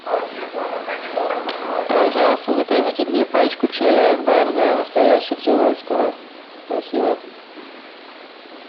пожалуйста закажите мне пачку чая акбар да настоящего цейлонского спасибо